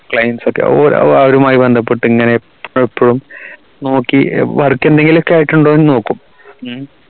clients ഒക്കെ ഒരു അവരുമായി ബന്ധപ്പെട്ട ഇങ്ങനെ എപ്പോഴും നോക്കി work എന്തെങ്കിലും ആയിട്ടുണ്ടോ എന്ന് നോക്കൂ